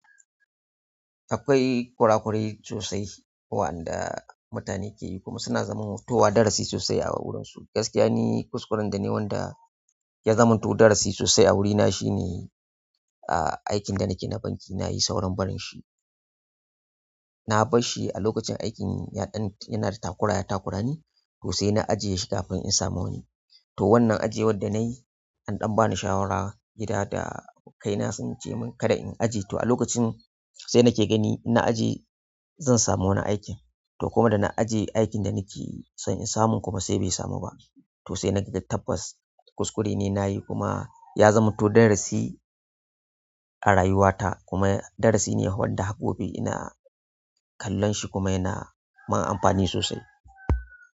Akwai kura-kurai sosai wa'anda mutane ke yi kuma suna zaman towa darasi sosai a wurinsu. Gaskiya ni kuskuren da mayi wanda ya zamanto darasi sosai a wurina shine, ah, aikin da nake na banki nayi sauran barin shi. Na bar shi a lokacin aikin yaɗan yana da takura ya takura ni to sai na ajiye shi kafin in samu wani. To wannan ajiyar da nayi an ɗan bani shawara gida da ako kai na sunce mun kada in ajiye. To a lokacin sai nake gani in na ajiye zan samu wani aikin. To kuma da na ajiye aikin da nake son in samu kuma sai bai samu ba. To sai na ga da tabbas, kuskure ne nayi kuma ya zamanto darasi a rayuwata kuma darasi ne wanda gobe ina kallon shi kuma yana mun amfani sosai.